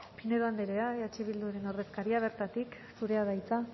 pinedo andrea eh bilduren ordezkaria bertatik zurea da hitza